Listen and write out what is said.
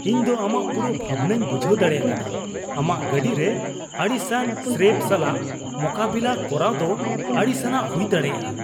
ᱤᱧ ᱫᱚ ᱟᱢᱟᱜ ᱯᱩᱨᱟᱹ ᱵᱷᱟᱵᱱᱟᱧ ᱵᱩᱡᱷᱟᱹᱣ ᱫᱟᱲᱮ ᱟᱠᱟᱫᱟ ᱾ ᱟᱢᱟᱜ ᱜᱟᱹᱰᱤ ᱨᱮ ᱟᱹᱲᱤᱥᱟᱱ ᱥᱨᱮᱹᱯ ᱥᱟᱞᱟᱜ ᱢᱚᱠᱟᱵᱤᱞᱟᱹ ᱠᱚᱨᱟᱣ ᱫᱚ ᱟᱹᱲᱤᱥᱟᱱᱟᱜ ᱦᱩᱭ ᱫᱟᱲᱮᱭᱟᱜᱼᱟ ᱾